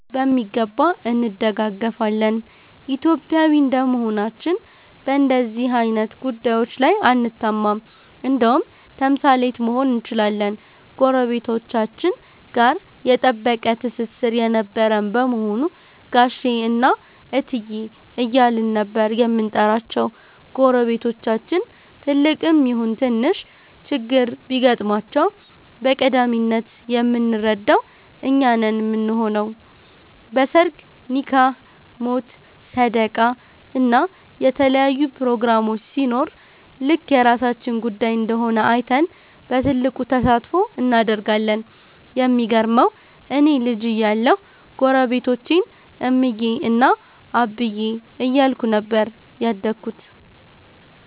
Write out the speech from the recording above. በሚገባ እንደጋገፋለን። ኢትዮጵያዊ እንደመሆናችን በንደዚህ አይነት ጉዳዬች ላይ አንታማም እንደውም ተምሳሌት መሆን እንችላለን። ጎረቤቶቻችን ጋ የጠበቀ ትስስር የነበረን በመሆኑ ጋሼ እና እትዬ እያልን ነበር የምንጠራቸው። ጎረቤቶቻችን ትልቅም ይሁን ትንሽ ችግር ቢገጥማቸው በቀዳሚነት የምንረዳው እኛ ነን ምንሆነው። በ ሰርግ፣ ኒካህ፣ ሞት፣ ሰደቃ እና የተለያዩ ፕሮግራሞች ሲኖር ልክ የራሳችን ጉዳይ እንደሆነ አይተን በትልቁ ተሳትፎ እናደርጋለን። የሚገርመው እኔ ልጅ እያለሁ ጎረቤቶቼን እምዬ እና አብዬ እያልኩኝ ነበር ያደግኩት።